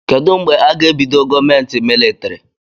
Kedụ mgbe aga ebido gọọmenti militrị?